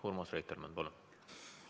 Urmas Reitelmann, palun!